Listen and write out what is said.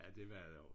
Ja det var det også